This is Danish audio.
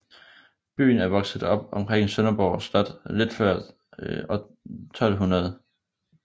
Byen er vokset op omkring Sønderborg Slot lidt før år 1200